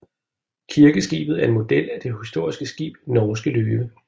Kirkeskibet er en model af det historiske skib Norske Løve